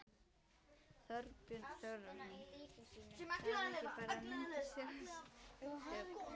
Þorbjörn Þórðarson: Þarf ekki bara að mynda þjóðstjórn?